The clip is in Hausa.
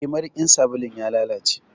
Eh, marikin sabulun ya lalace.